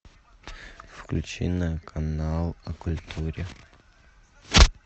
включи на канал о культуре